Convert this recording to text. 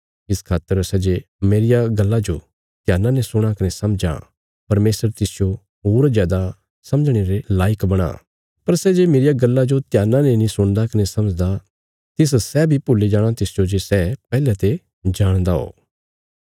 इस खातर सै जे मेरिया गल्ला जो ध्याना ने सुणां कने समझां परमेशर तिसजो होर जादा समझणे रे लायक बणां पर सै जे मेरिया गल्ला जो ध्याना ने नीं सुणदा कने समझदा तिस सै बी भुल्ली जाणा तिसजो जे सै पैहले ते जाणदा हो